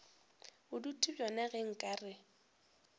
bodutu bjona ge nka re